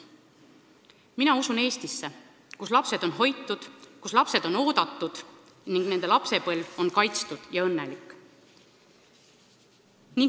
Mina usun Eestisse, kus lapsed on hoitud ja oodatud ning nende lapsepõlv on kaitstud ja õnnelik.